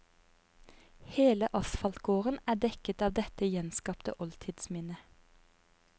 Hele asfaltgården er dekket av dette gjenskapte oltidsminnet.